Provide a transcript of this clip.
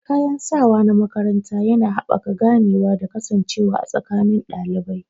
Kayan sawa na makaranta yana haɓaka ganewa da kasancewa a tsakanin ɗalibai.